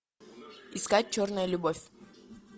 искать черная любовь